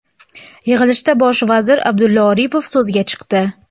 Yig‘ilishda bosh vazir Abdulla Aripov so‘zga chiqdi.